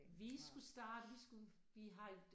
Vi skulle starte vi skulle vi har et